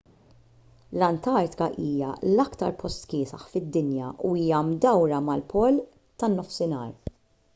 l-antartika hija l-aktar post kiesaħ fid-dinja u hija mdawra mal-pol tan-nofsinhar